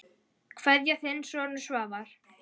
Kveðja, þinn sonur Svavar.